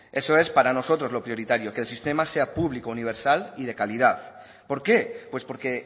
eso es para nosotros lo prioritario que el sistema sea público universal y de calidad por qué pues porque